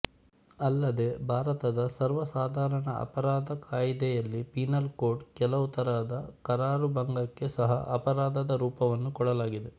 ಅಲ್ಲದೆ ಭಾರತದ ಸರ್ವಸಾಧಾರಣ ಅಪರಾಧಕಾಯಿದೆಯಲ್ಲಿ ಪೀನಲ್ ಕೋಡ್ ಕೆಲವು ತರದ ಕರಾರುಭಂಗಕ್ಕೆ ಸಹ ಅಪರಾಧದ ರೂಪವನ್ನು ಕೊಡಲಾಗಿದೆ